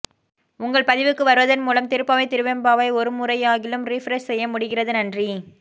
உங்கள் பதிவுக்கு வருவதன் மூலம் திருப்பாவை திருவெம்பாவை ஒரு முறையாகிலும்ரிஃப்ரெஷ் செய்ய முடிகிறது நன்றி